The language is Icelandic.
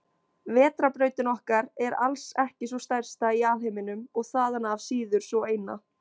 Vetrarbrautin okkar er alls ekki sú stærsta í alheiminum og þaðan af síður sú eina.